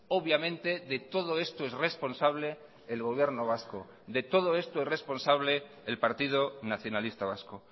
obviamente de todo esto es responsable el gobierno vasco de todo esto es responsable el partido nacionalista vasco